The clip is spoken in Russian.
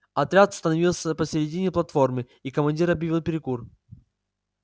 отряд остановился посередине платформы и командир объявил перекур